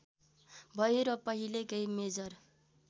भयो र पहिलेकै मेजर